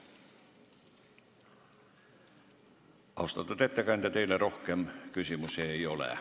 Austatud ettekandja, teile rohkem küsimusi ei ole.